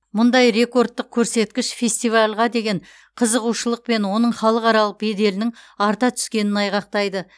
мұндай рекордтық көрсеткіш фестивальға деген қызығушылық пен оның халықаралық беделінің арта түскенін айғақтайды